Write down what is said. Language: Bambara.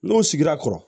N'o sigira kɔrɔ